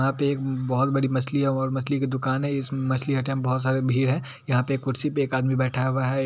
यहाँ पे एक बहुत बड़ी मछली है और मछली की दूकान है इस मछली हटिया में बहुत सारे भीड़ है यहाँ पे एक कुर्सी पे एक आदमी बैठा हुआ है।